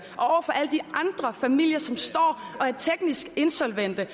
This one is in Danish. og familier som står og er teknisk insolvente